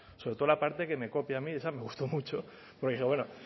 sobre todo la parte que me copia a mí esa me gustó mucho porque dije bueno